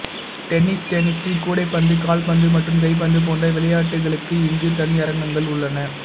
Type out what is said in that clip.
டென்னிஸ்டென்னிசு கூடைப்பந்து கால்பந்து மற்றும் கைப்பந்து போன்ற விளையாட்டுகளுக்கு இங்கு தனி அரங்கங்கள் உள்ளன